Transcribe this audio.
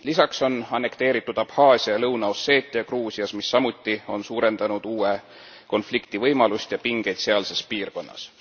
Lisaks on annekteeritud Abhaasia ja Lõuna Osseetia Gruusias, mis samuti on suurendanud uue konflikti võimalust ja pingeid sealses piirkonnas.